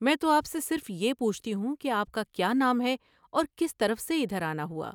میں تو آپ سے صرف یہ پوچھتی ہوں کہ آپ کا کیا نام ہے اور کس طرف سے ادھر آنا ہوا ؟